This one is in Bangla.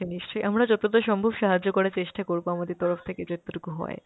নিশ্চয়, আমরা যতটা সম্ভব সাহায্য করার চেষ্টা করব আমাদের তরফ থেকে যতটুকু হয়।